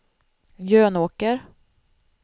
Jönåker